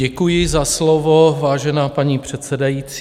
Děkuji za slovo, vážená paní předsedající.